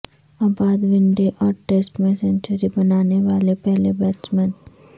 عابدونڈے اور ٹسٹ میں سنچری بنانے والے پہلے بیٹسمین